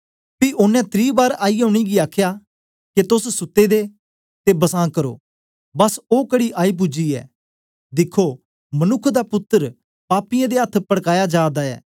पी ओनें त्री बार आईयै उनेंगी आखया के तोस सुते दे ते बसां करो बस ओ घड़ी आई पूजी ऐ दिखो मनुक्ख दा पुत्तर पापियें दे अथ्थ पड़काया जा दा ऐ